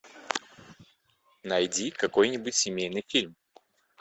найди какой нибудь семейный фильм